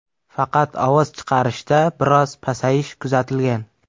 Faqat ovoz chiqarishda biroz pasayish kuzatilgan.